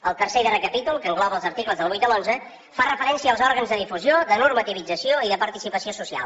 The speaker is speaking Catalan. el tercer i darrer capítol que engloba els articles del vuit a l’onze fa referència als òrgans de difusió de normativització i de participació social